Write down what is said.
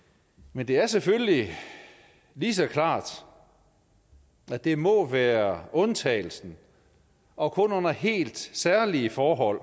men det er selvfølgelig lige så klart at det må være undtagelsen og kun under helt særlige forhold